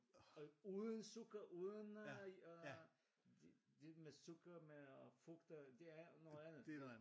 Uden sukker uden øh de med sukker med frugter det er noget andet